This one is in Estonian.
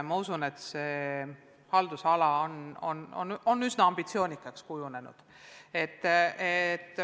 Ma usun, et see haldusala on üsna ambitsioonikaks kujunenud.